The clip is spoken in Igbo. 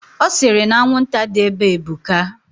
Osiri na anwụnta di ebe ebuka.